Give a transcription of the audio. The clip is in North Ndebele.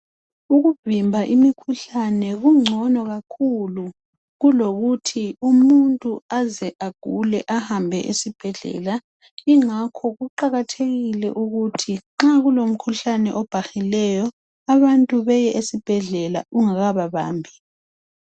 Ukuvimba imikhuhlane kungcono kakhulu kulokuthi umuntu aze agule ahambe esibhedlela. Ingakho kuqakathekile ukuthi nxa kulomkhuhlane obhahileyo abantu beye esibhedlela ungaka babambi.